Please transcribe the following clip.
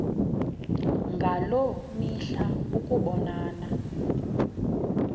ngaloo mihla ukubonana